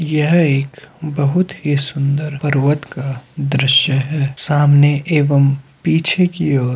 यह एक बहोत ही सुंदर पर्वत का दृश्य है सामने एवम् पीछे की ओर --